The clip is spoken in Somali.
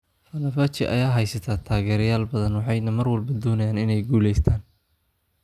Fenerbahce ayaa haysata taageerayaal badan, waxayna mar walba doonayaan inay guulaystaan.